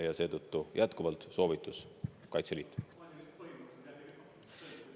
Ja seetõttu jätkuvalt soovitus: Kaitseliit!